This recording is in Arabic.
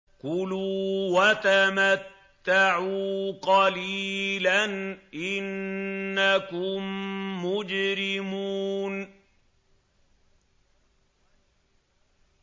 كُلُوا وَتَمَتَّعُوا قَلِيلًا إِنَّكُم مُّجْرِمُونَ